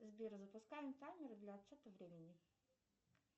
сбер запускаем таймер для отчета времени